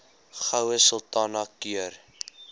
goue sultana keur